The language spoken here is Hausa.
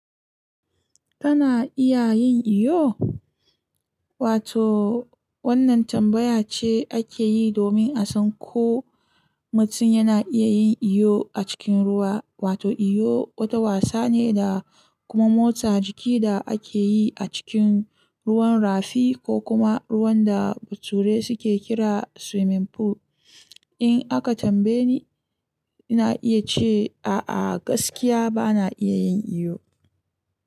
Kana iya yin iyo? Wato wannan tambaya ce ake yi domin a san ko mutum yana iya yin iyo a cikin ruwa. Wato iyo wata wasa ne da kuma motsa jiki da ake yi a cikin ruwan rafi ko kuma ruwan da bature suke kira swimming pool. In aka tambaye ni, ina iya ce a'a gaskiya ba na iya yin iyo.